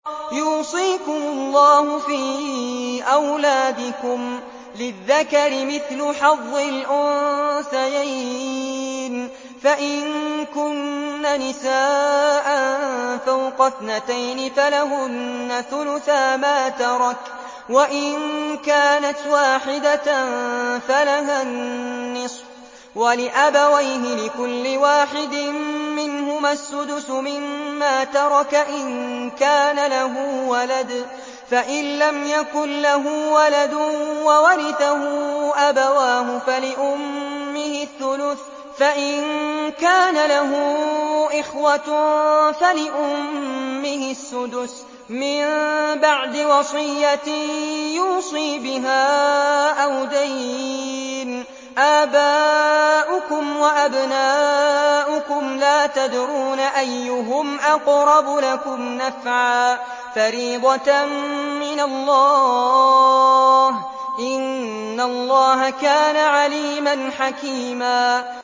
يُوصِيكُمُ اللَّهُ فِي أَوْلَادِكُمْ ۖ لِلذَّكَرِ مِثْلُ حَظِّ الْأُنثَيَيْنِ ۚ فَإِن كُنَّ نِسَاءً فَوْقَ اثْنَتَيْنِ فَلَهُنَّ ثُلُثَا مَا تَرَكَ ۖ وَإِن كَانَتْ وَاحِدَةً فَلَهَا النِّصْفُ ۚ وَلِأَبَوَيْهِ لِكُلِّ وَاحِدٍ مِّنْهُمَا السُّدُسُ مِمَّا تَرَكَ إِن كَانَ لَهُ وَلَدٌ ۚ فَإِن لَّمْ يَكُن لَّهُ وَلَدٌ وَوَرِثَهُ أَبَوَاهُ فَلِأُمِّهِ الثُّلُثُ ۚ فَإِن كَانَ لَهُ إِخْوَةٌ فَلِأُمِّهِ السُّدُسُ ۚ مِن بَعْدِ وَصِيَّةٍ يُوصِي بِهَا أَوْ دَيْنٍ ۗ آبَاؤُكُمْ وَأَبْنَاؤُكُمْ لَا تَدْرُونَ أَيُّهُمْ أَقْرَبُ لَكُمْ نَفْعًا ۚ فَرِيضَةً مِّنَ اللَّهِ ۗ إِنَّ اللَّهَ كَانَ عَلِيمًا حَكِيمًا